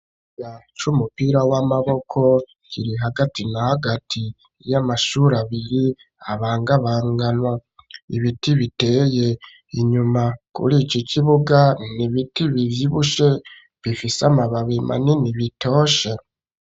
Ikibuga c'umupira w'amaboko kiri hagati na hagati y'amashure abiri abangabanganwa ibiti biteye inyuma kuri iki kibuga nibiti bivyibushe bifise amababi manini bitoshe.